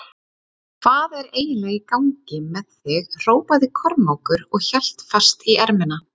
Hvað er eiginlega í gangi með þig hrópaði Kormákur og hélt fast í ermina.